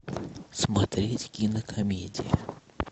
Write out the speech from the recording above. смотреть кинокомедии